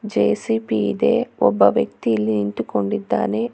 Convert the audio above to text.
JCP ಇದೆ ಒಬ್ಬ ವ್ಯಕ್ತಿ ಇಲ್ಲಿ ನಿಂತುಕೊಂಡಿದ್ದಾನೆ.